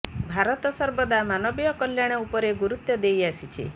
ଭାରତ ସର୍ବଦା ମାନବୀୟ କଲ୍ୟାଣ ଉପରେ ଗୁରୁତ୍ବ ଦେଇ ଆସିଛି